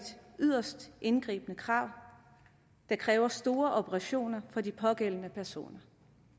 yderst indgribende krav der kræver store operationer for de pågældende personer